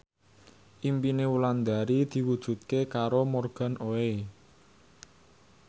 impine Wulandari diwujudke karo Morgan Oey